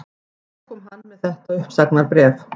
Þá kom hann með þetta uppsagnarbréf